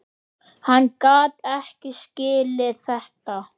Hann gat ekki skilið þetta.